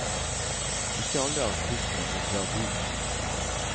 Ikke alle artistene vil dra dit.